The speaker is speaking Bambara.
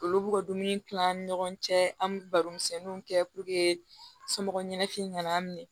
Olu b'u ka dumuni kila an ni ɲɔgɔn cɛ an bɛ baro misɛnninw kɛ somɔgɔw ɲɛnakili nana minɛ